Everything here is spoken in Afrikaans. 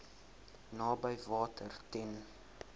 naby water ten